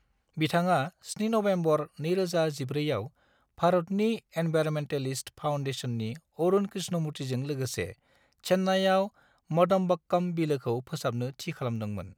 बिथाङा 7 नबेम्बर 2014 आव भारतनि एनवायरनमेन्टेलिस्ट फाउन्डेशननि अरुण कृष्णमूर्तिजों लोगोसे चेन्नाईआव मदम्बक्कम बिलोखौ फोसाबनो थि खालामदोंमोन।